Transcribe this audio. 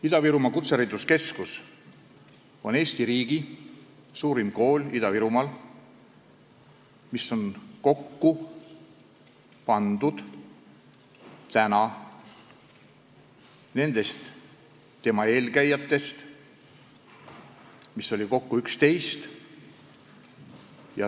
Ida-Virumaa Kutsehariduskeskus on Eesti riigi suurim kool Ida-Virumaal, mis on kokku pandud tema eelkäijatest, mida oli kokku 11.